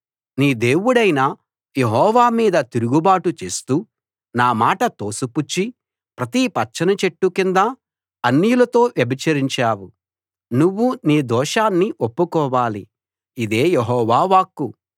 నీ దేవుడైన యెహోవా మీద తిరుగుబాటు చేస్తూ నా మాట తోసిపుచ్చి ప్రతి పచ్చని చెట్టు కిందా అన్యులతో వ్యభిచరించావు నువ్వు నీ దోషాన్ని ఒప్పుకోవాలి ఇదే యెహోవా వాక్కు